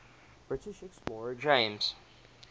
british explorer james